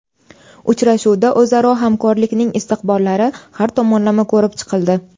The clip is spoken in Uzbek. Uchrashuvda o‘zaro hamkorlikning istiqbollari har tomonlama ko‘rib chiqildi.